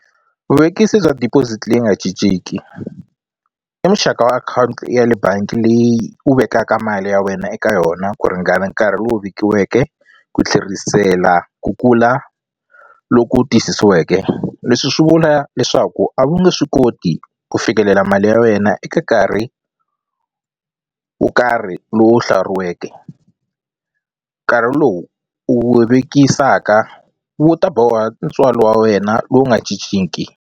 Vuvekisi bya deposit leyi nga cinciki i muxaka wa akhawunti ya le bangi leyi u vekaka mali ya wena eka yona ku ringana nkarhi lowu vekiweke ku tlherisela ku kula loku tiyisisiweke leswi swi vula leswaku a wu nge swi koti ku fikelela mali ya wena eka nkarhi wo karhi lowu hlawuriweke nkarhi lowu u wu vekisaka wu ta boha ntswalo wa wena lowu nga cinciki.